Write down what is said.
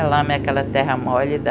Lá é aquela terra mole da...